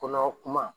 Kɔnɔ kuma